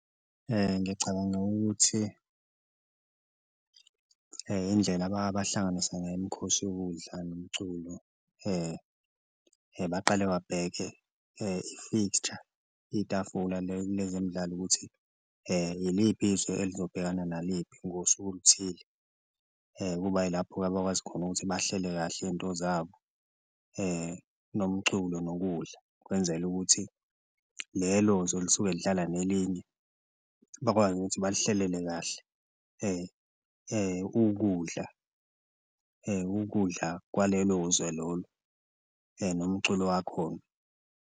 Ngiyacabanga ukuthi indlela abahlanganisa ngayo imikhosi yokudla nomculo baqale babheke i-fixture itafula lezemidlalo ukuthi iliphi izwe elizobhekana naliphi ngosuku oluthile. Kuba yilapho-ke abakwazi khona ukuthi bahlele kahle into zabo nomculo nokudla, kwenzelwe ukuthi lelo lisuke lidlalwa nelinye bakwazi ukuthi balihlelele kahle ukudla ukudla kwalelo zwe lolo nomculo wakhona.